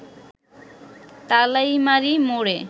তালাইমারি মোড়ে